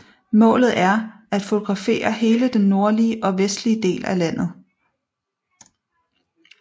Målet er at fotografere hele den nordlige og vestlige del af landet